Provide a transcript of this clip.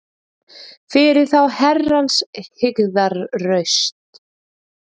Fyrir þá Herrans hryggðarraust